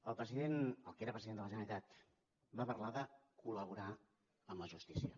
el que era president de la generalitat va parlar de col·laborar amb la justícia